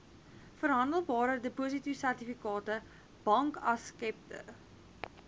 verhandelbare depositosertifikate bankaksepte